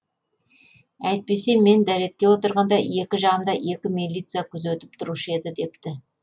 әйтпесе мен дәретке отырғанда екі жағымда екі милиция күзетіп тұрушы еді депті